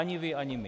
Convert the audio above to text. Ani vy ani my.